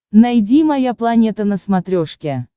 найди моя планета на смотрешке